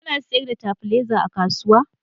Kuna sayar da stabilizer a kasuwa?